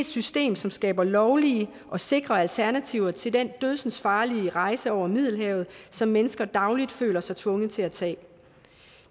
system som skaber lovlige og sikre alternativer til den dødsensfarlige rejse over middelhavet som mennesker dagligt føler sig tvunget til at tage